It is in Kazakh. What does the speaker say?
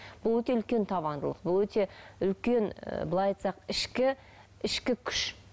бұл өте үлкен табандылық бұл өте үлкен былай айтсақ ішкі ішкі күш